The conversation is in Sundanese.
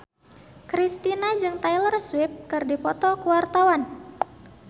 Kristina jeung Taylor Swift keur dipoto ku wartawan